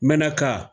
Mɛraka